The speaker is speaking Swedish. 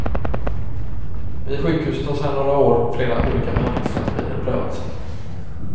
Vid sjukhuset har sedan några år flera olika behandlindsstrategier prövats.